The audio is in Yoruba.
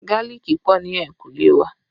Gálíìkì pọ̀ ní ehinkule wa